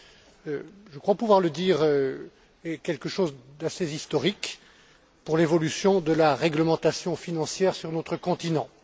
est je crois pouvoir le dire quelque chose d'assez historique pour l'évolution de la réglementation financière sur notre continent.